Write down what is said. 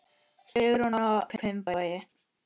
Sigrún og Hjalti.